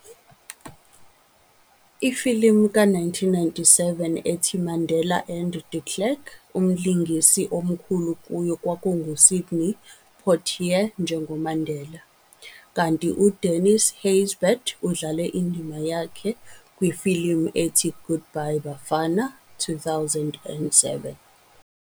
Ifilimu ka 1997 ethi-"Mandela and de Klerk" umlingisi omkhulu kuyo kwakungu-Sidney Poitier njengoMandela, kanti u-Dennis Haysbert udlale indima yakhe kwifilimu ethi-"Goodbye Bafana", 2007.